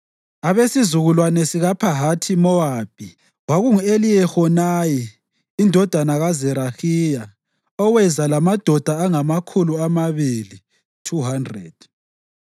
abesizukulwane sikaPhahathi-Mowabi: kwakungu-Eliyehonayi indodana kaZerahiya oweza lamadoda angamakhulu amabili (200);